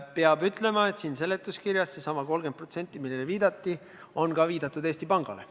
Peab ütlema, et siin seletuskirjas on sellesama 30% juures, millele viidatati, viidatud ka Eesti Pangale.